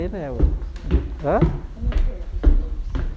né do hã Como foi para o senhor decidir